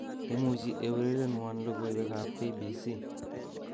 imuche eurerenwon logoiwek ab k.b.c